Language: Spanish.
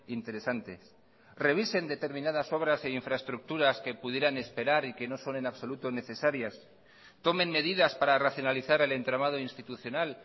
interesantes revisen determinadas obras e infraestructuras que pudieran esperar y que no son en absoluto necesarias tomen medidas para racionalizar el entramado institucional